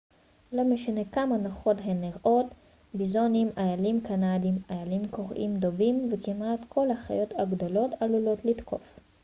לא משנה כמה נוחות הן נראות ביזונים איילים קנדיים איילים קוראים דובים וכמעט כל החיות הגדולות עלולות לתקוף